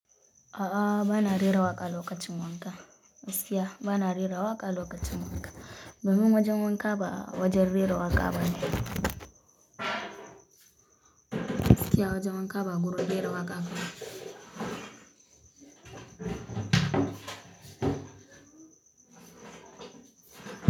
A'a, ba na rera waƙa lokacin wanka. Gaskiya, ba na rera waƙa lokacin wanka. Domin wajen wanka ba wajen rera waƙa bane. Gaskiya wajen wanka ba gurin rera waƙa bane.